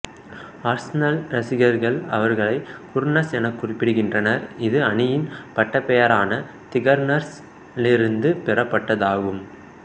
Arsenal ரசிகர்கள் அவர்களை Gooners எனக் குறிப்பிடுகின்றனர் இது அணியின் பட்டப்பெயரான தி கன்னர்ஸ் லிருந்து பெறப்பட்டதாகும்